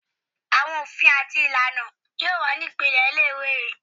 Awọn ofin ati ilana ti yoo wa ni ipilẹ ile-iwe yii